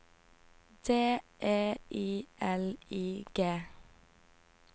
D E I L I G